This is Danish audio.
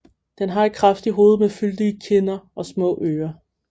Den har et kraftigt hoved med fyldige kinder og små ører